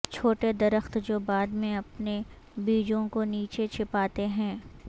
چھوٹے درخت جو بعد میں اپنے بیجوں کو نیچے چھپاتے ہیں